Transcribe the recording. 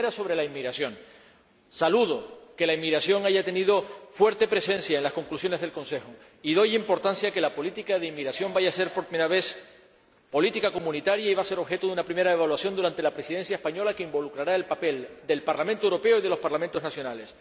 La primera, sobre la inmigración saludo que la inmigración haya tenido fuerte presencia en las conclusiones del Consejo y doy importancia a que la política de inmigración vaya a ser, por primera vez, política comunitaria y vaya a ser objeto, durante la Presidencia española, de una primera evaluación que involucrará el papel del Parlamento Europeo y de los Parlamentos nacionales.